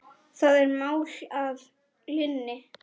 Það er mál að linni!